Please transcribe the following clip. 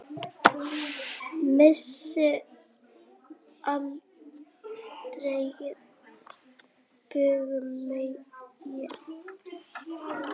Messi afgreiddi Brasilíumenn